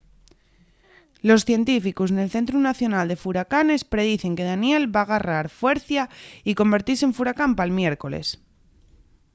los científicos nel centru nacional de furacanes predicen que danielle va garrar fuercia y convertise en furacán pal miércoles